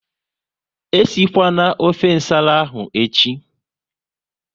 E si kwana ofe nsala ahụ echi!